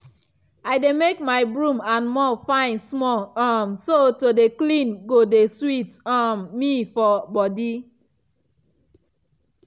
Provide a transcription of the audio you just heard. i dey make my broom and mop fine small um so to dey clean go dey sweet um me for body.